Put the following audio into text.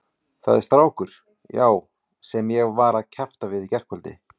Það er strákur, já, sem ég var að kjafta við í gærkvöldi.